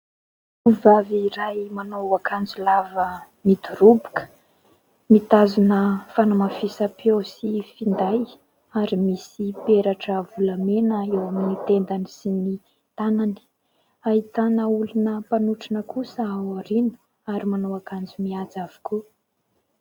Vehivavy iray manao akanjo lava midoroboka mitazona fanamafisam-peo sy finday ary misy peratra volamena eo amin'ny tendany sy ny tanany. Ahitana olona mifanotrona kosa ao aoriana ary manao akanjo mihaja avokoa.